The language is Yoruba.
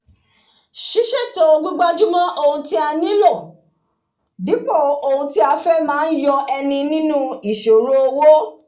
sísètò àti gbígbájúmó ohun tí a nílò dípò ohun tí a fé máá yo eni nínú ìsòro owó